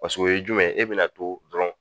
Paseke o ye jumɛn ye e bɛna to dɔrɔn.